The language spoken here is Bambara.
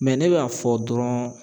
Mɛ ne b'a fɔ dɔrɔn